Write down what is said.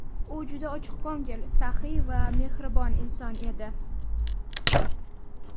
U juda ochiqko‘ngil, saxiy va mehribon inson edi.